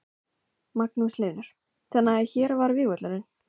Magnús Hlynur: Þannig að hér var vígvöllurinn?